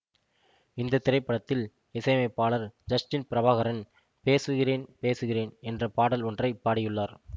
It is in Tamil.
இந்த திரைப்படத்தில் இசையமைப்பாளர் ஜஸ்டின் பிரபாகரன் பேசுகிறேன் பேசுகிறேன் என்ற பாடல் ஒன்றை பாடி உள்ளார்